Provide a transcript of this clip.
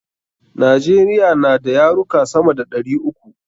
Najeriya na da yaruka sama da ɗari uku.